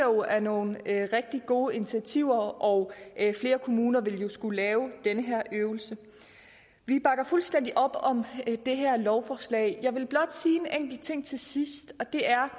er nogle rigtig gode initiativer og flere kommuner vil jo skulle lave den her øvelse vi bakker fuldstændig op om det her lovforslag jeg vil blot sige en enkelt ting til sidst og det er